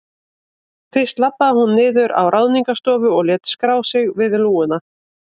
Fyrst labbaði hún niður á Ráðningarstofu og lét skrá sig við lúguna.